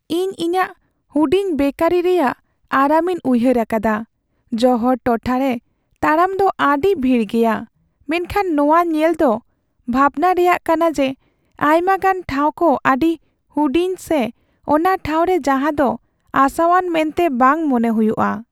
ᱤᱧ ᱤᱧᱟᱹᱜ ᱦᱩᱰᱤᱧ ᱵᱮᱠᱟᱨᱤ ᱨᱮᱭᱟᱜ ᱟᱨᱟᱢᱤᱧ ᱩᱭᱦᱟᱹᱨ ᱟᱠᱟᱫᱟ, ᱡᱚᱦᱚᱲ ᱴᱚᱴᱷᱟᱨᱮ ᱛᱟᱲᱟᱢ ᱫᱚ ᱟᱹᱰᱤ ᱵᱷᱤᱲ ᱜᱮᱭᱟ, ᱢᱮᱱᱠᱷᱟᱱ ᱱᱚᱶᱟ ᱧᱮᱞ ᱫᱚ ᱵᱷᱟᱵᱷᱱᱟ ᱨᱮᱭᱟᱜ ᱠᱟᱱᱟ ᱡᱮ ᱟᱭᱢᱟᱜᱟᱱ ᱴᱷᱟᱶ ᱠᱚ ᱟᱹᱰᱤ ᱦᱩᱰᱤᱧ ᱥᱮ ᱚᱱᱟ ᱴᱷᱟᱶᱠᱚ ᱨᱮ ᱡᱟᱦᱟᱸ ᱫᱚ ᱟᱥᱟᱣᱟᱱ ᱢᱮᱱᱛᱮ ᱵᱟᱝ ᱢᱚᱱᱮ ᱦᱩᱭᱩᱜᱼᱟ ᱾